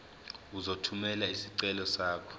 uzothumela isicelo sakho